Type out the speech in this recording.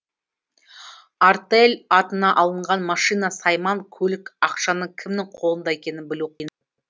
артель атына алынған машина сайман көлік ақшаның кімнің қолында екенін білу